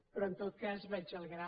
però en tot cas vaig al gra